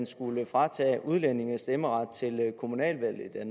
skulle fratage udlændinge stemmeret til kommunalvalget